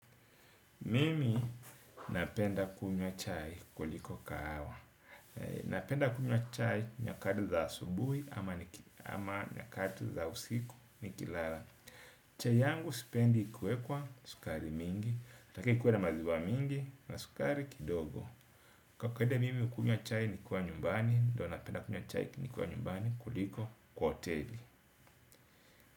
Mimi napenda kunywa chai kuliko kahawa. Napenda kunywa chai nyakati za asubuhi ama nyakati za usiku nikilala. Chai yangu sipendi ikiwekwa sukari mingi, nataka ikuwe na maziwa mingi na sukari kidogo. Kwa kawaida mimi hukunywa chai nikiwa nyumbani, ndio napenda kunywa chai ni kwa nyumbani kuliko kwa hoteli.